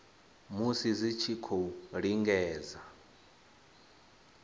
musi dzi tshi khou lingedza